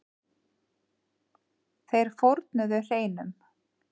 Þeir fórnuðu hreinum.